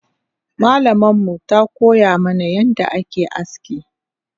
Malamanmu takoya mana yadda ake aski